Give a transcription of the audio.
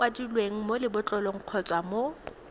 kwadilweng mo lebotlolong kgotsa mo